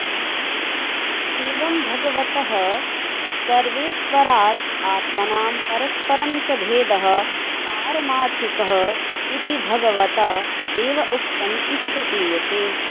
एवं भगवतः सर्वेश्वराद् आत्मनां परस्परं च भेदः पारमार्थिकः इति भगवता एव उक्तम् इति प्रतीयते